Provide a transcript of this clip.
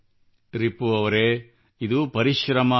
ರಿಪು ಅವರೇ ಇದು ಪರಿಶ್ರಮವಲ್ಲ